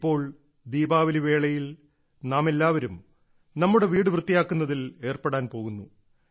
ഇപ്പോൾ ദീപാവലിവേളയിൽ നാം എല്ലാവരും നമ്മുടെ വീട് വൃത്തിയാക്കുന്നതിൽ ഏർപ്പെടാൻ പോകുന്നു